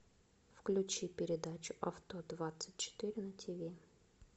включи передачу авто двадцать четыре на тв